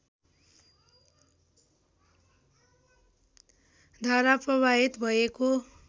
धारा प्रवाहित भएको